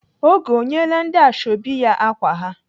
Oge ọ nyeela ndị ashọbị ya ákwà ha?